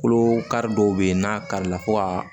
Kolo kari dɔw bɛ yen n'a kari la fo ka